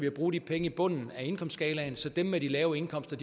at bruge de penge i bunden af indkomstskalaen så dem med de lave indkomster